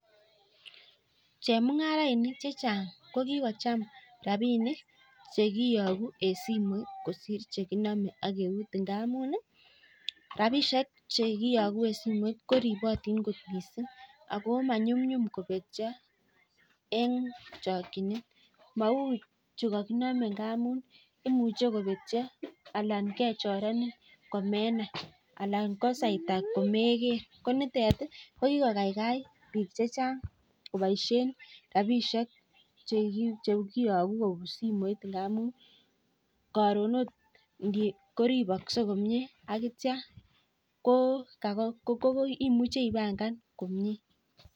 Chemungarainik kochamee rabinik chekiyakuu eng simoit amuu ribatin missing eng simoit